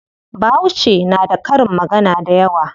Bahauce na da karin magana dayawa.